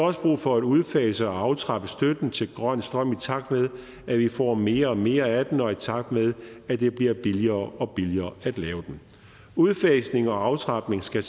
også brug for at udfase og aftrappe støtten til grøn strøm i takt med at vi får mere og mere af den og i takt med at det bliver billigere og billigere at lave den udfasningen og aftrapningen skal